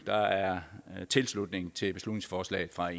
der er tilslutning til beslutningsforslaget fra